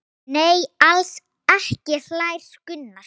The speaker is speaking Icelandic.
Nei, alls ekki hlær Gunnar.